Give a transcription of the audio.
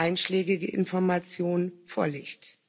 einschlägige Informationen vorlegt.